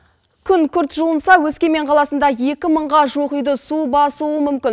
күн күрт жылынса өскемен қаласында екі мыңға жуық үйді су басуы мүмкін